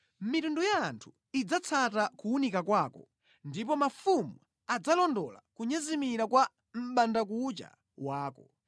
Mitundu ya anthu idzatsata kuwunika kwako ndipo mafumu adzalondola kunyezimira kwa mʼbandakucha wako.